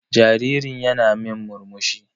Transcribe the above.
Jaririn yana min murmsuhi.